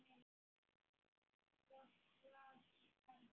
Svo hvað skal gera?